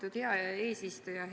Lugupeetud eesistuja!